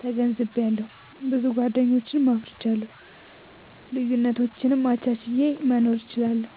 ተገንዝቤአለሁ። ብዙ ጎደኞችን አፍርቻለሁ። ልዩነቶችን አቻችየ መኖር እችላለሁ።